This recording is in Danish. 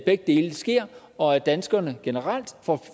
begge dele sker og at danskerne generelt får